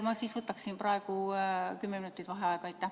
Ma siis võtaksin praegu kümme minutit vaheaega.